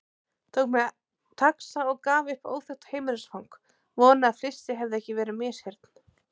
Tók mér taxa og gaf upp óþekkt heimilisfang, vonaði að flissið hefði ekki verið misheyrn.